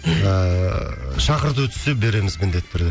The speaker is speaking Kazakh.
ыыы шақырту түссе береміз міндетті түрде